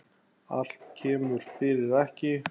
Allt kemur fyrir ekki.